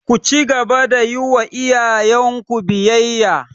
Ku cigaba da yiwa iyayen ku biyayya!